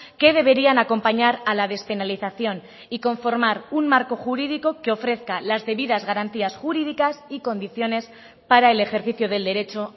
que deberían acompañar a la despenalización y conformar un marco jurídico que ofrezca las debidas garantías jurídicas y condiciones para el ejercicio del derecho